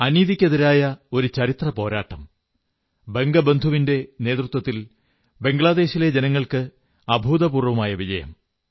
അനീതിക്കെതിരായ ഒരു ചരിത്ര പോരാട്ടം ബംഗബന്ധുവിന്റെ നേതൃത്വത്തിൽ ബംഗ്ളാദേശിലെ ജനങ്ങൾക്ക് അഭൂതപൂർവ്വമായ വിജയം